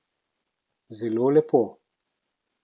Zelo lepo.